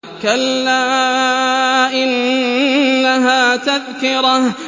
كَلَّا إِنَّهَا تَذْكِرَةٌ